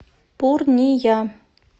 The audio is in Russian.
пурния